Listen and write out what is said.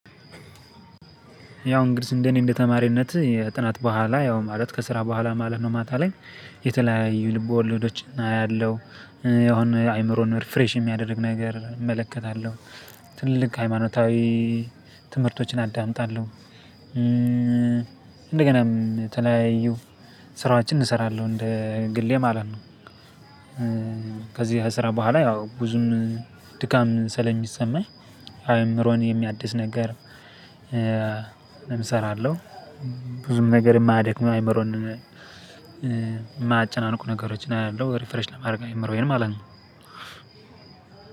ያው እንግዲህ እንደኔ እንደ ተማሪነት የጥናት በኋላ ያው ማለት ከስራ በኋላ ማለት ነው ማታ ላይ የተለያዩ ልቦለዶችን አያለሁ የሆነ አእምሮን ፍሬሽ የሚያደርግ ነገር እመለከታለሁ። ትልቅ ሃይማኖታዊ ትምህርቶችን አዳምጣለሁ። እንደገናም ተለያዩ ስራዎችን እሰራለሁ እንደ ግሌ ማለት ነው። ከዚህ ስራ በኋላ ያው ብዙም ድካም ስለሚሰማኝ አእምሮን የሚያድስ ነገር። እሰራለሁ። ብዙ ነገር የማያደክመው አይምሮን የማያጨናንቁ ነገሮችን አያለሁ ሪፍሬሽ ለማድረግ የአእምሮዬን ማለት ነው።